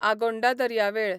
आगोंडा दर्यावेळ